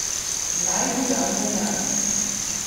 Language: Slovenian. Naj mu dam denar.